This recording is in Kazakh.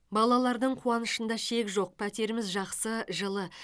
балалардың қуанышында шек жоқ пәтеріміз жақсы жылы